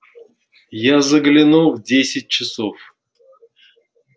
я загляну в десять часов